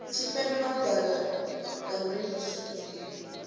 tshipembe malugana na u rengisiwa